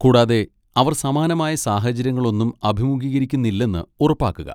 കൂടാതെ, അവർ സമാനമായ സാഹചര്യങ്ങളൊന്നും അഭിമുഖീകരിക്കുന്നില്ലെന്ന് ഉറപ്പാക്കുക.